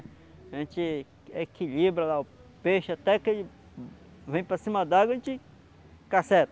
A gente equilibra lá o peixe até que ele vem para cima d'água, a gente casseta.